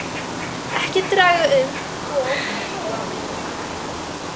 Ekki draga um of úr hávaðamengun